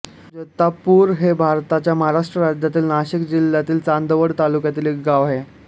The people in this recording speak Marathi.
जैतापूर हे भारताच्या महाराष्ट्र राज्यातील नाशिक जिल्ह्यातील चांदवड तालुक्यातील एक गाव आहे